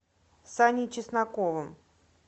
саней чесноковым